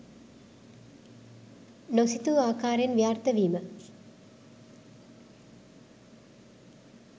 නොසිතූ ආකාරයෙන් ව්‍යාර්ථ වීම